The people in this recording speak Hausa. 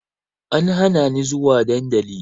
An hana ni zuwa dandali